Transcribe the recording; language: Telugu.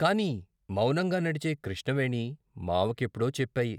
కాని మౌనంగా నడిచే కృష్ణవేణి మావకెప్పుడో చెప్పాయి.